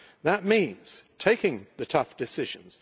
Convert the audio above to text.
That means taking the tough decisions.